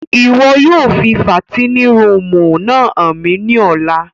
Ìwo yóò fi fàtinin rùumù náa han mi ni ọla!